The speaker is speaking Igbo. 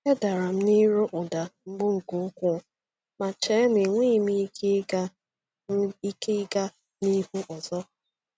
E dara m n’iru ụdạ mgbu nke ukwuu, ma chee na enweghị m ike ịga m ike ịga n’ihu ọzọ.